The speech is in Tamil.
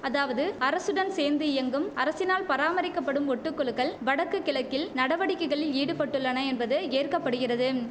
அதாவது அரசுடன் சேர்ந்து இயங்கும் அரசினால் பராமரிக்கப்படும் ஒட்டு குழுக்கள் வடக்கு கிழக்கில் நடவடிக்கைகளில் ஈடுபட்டுள்ளன என்பது ஏற்கப்படுகிறதும்